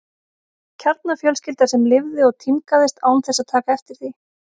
Kjarnafjölskylda sem lifði og tímgaðist án þess að taka eftir því.